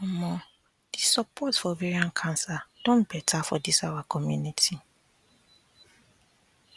omo the support for ovarian cancer don better for this our community